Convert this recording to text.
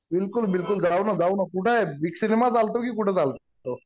बिलकुल बिलकुल जाऊ न कुठे आहे बिग सिनेमा चालतो की कुठ चालतो